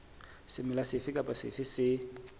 semela sefe kapa sefe se